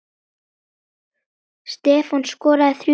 Stefán skoraði þrjú mörk.